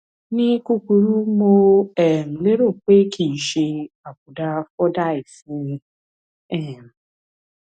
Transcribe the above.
ní kúkurú mo um lérò pé kìí ṣe àbùdá fordyce ni um